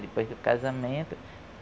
Depois do casamento.